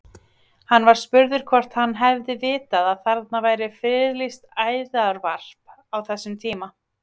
Hann var spurður hvort hann hefði vitað að þarna væri friðlýst æðarvarp á þessum tíma?